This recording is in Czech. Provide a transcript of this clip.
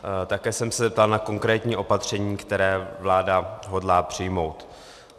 Také jsem se ptal na konkrétní opatření, která vláda hodlá přijmout.